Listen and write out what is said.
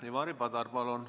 Ivari Padar, palun!